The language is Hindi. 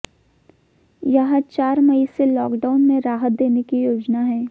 यहां चार मई से लॉकडाउन में राहत देने की योजना है